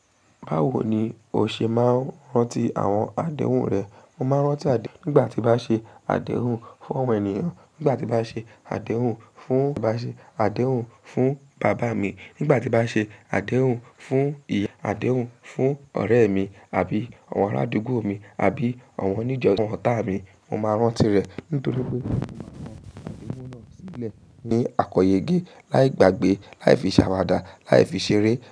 Báwo ni o ṣe máa ń rántí àwọn àdéhùn rẹ? Mo máa ń rántí nígbà tí bá ṣe àdéhùn fún àwọn ènìyàn, nígbà tí bá ṣe àdéhùn fún bàbá mi, nígbà tí bá ṣe àdéhùn fún ìyá mi, àdéhùn fún ọ̀rẹ́ mi àbí àwọn ará adúgbò mi àbí àwọn oníjó àwọn ọ̀tá mi. Mo máa rántí rẹ̀ nítorí pé ìwù náà sílẹ̀ ní àkọyọgẹ láì gbàgbé, láì fi sàwàdà, láì fi ṣeré.